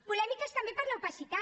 polèmiques també per l’opacitat